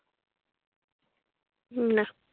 না।